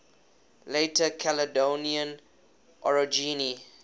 later caledonian orogeny